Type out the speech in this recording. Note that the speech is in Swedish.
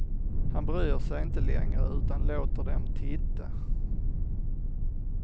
Han bryr sig inte längre utan låter dem titta.